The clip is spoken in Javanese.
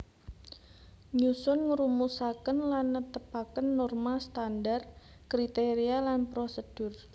Nyusun ngrumusaken lan netepaken norma standar kriteria lan prosedur